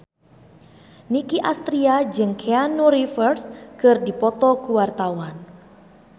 Nicky Astria jeung Keanu Reeves keur dipoto ku wartawan